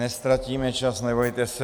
Neztratíme čas, nebojte se.